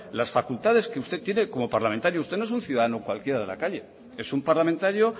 las facultades que usted tiene como parlamentario usted no es un ciudadano cualquiera de la calle es un parlamentario